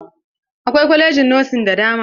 Akwai kwalajin nosin da dama.